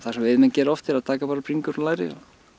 sem veiðimenn gera oft er að taka bara bringur og læri og